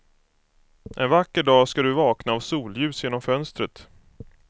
En vacker dag ska du vakna av solljus genom fönstret.